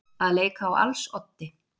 Að leika á als oddi